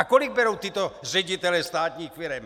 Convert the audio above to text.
A kolik berou tito ředitelé státních firem?